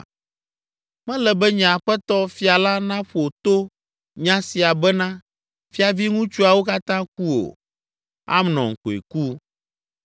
Mele be nye aƒetɔ, fia la naƒo to nya sia bena fiaviŋutsuawo katã ku o. Amnon koe ku.”